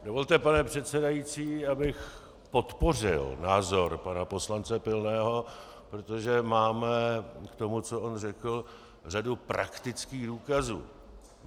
Dovolte, pane předsedající, abych podpořil názor pana poslance Pilného, protože máme k tomu, co on řekl, řadu praktických důkazů.